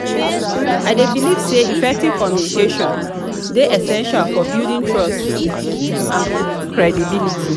i dey believe say effective communication dey essential for building trust and credibility.